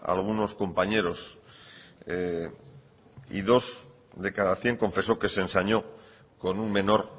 a algunos compañeros y dos de cada cien confesó que se ensañó con un menor